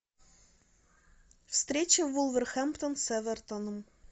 встреча вулверхэмптон с эвертоном